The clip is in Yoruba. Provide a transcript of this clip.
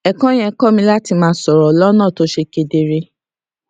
èkó yẹn kó mi láti máa sòrò lónà tó ṣe kedere